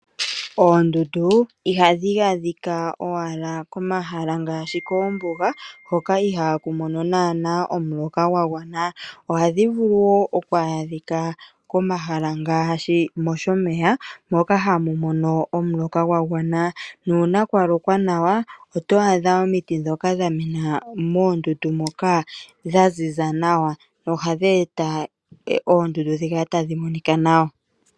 Oondundu ohadhi adhika owala komahala ngaashi koombuga hoka ihaaku mono naanaa omuloka gwa gwana. Ohadhi vulu wo oku adhika komahala ngaashi moshomeya, moka hamu mono omuloka gwa gwana. Nuuna kwa lokwa nawa oto adha omiti ndhoka dha mena moondundu moka dha ziza nawa nohadhi eta oondundu dhi kale tadhi monika nawa.